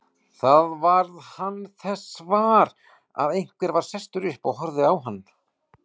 Þá varð hann þess var að einhver var sestur upp og horfði á hann.